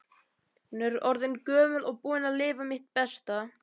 Ég er orðin gömul og búin að lifa mitt besta.